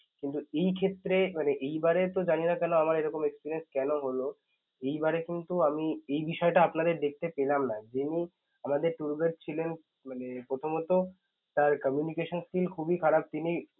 কিন্তু এই ক্ষেত্রে মানে এইবারে তো জানি না আমার এইরকম experience কেন হলো, এইবারে কিন্তু আমি এই বিষয়টা আপনাদের দেখতে পেলাম না. যিনি আমাদের tour guide ছিলেন মানে প্রথমত তার communication skill খুবই খারাপ, তিনি